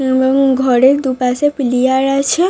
এবং এবং ঘরে দুপাশে পিলিয়ার আছে-এ।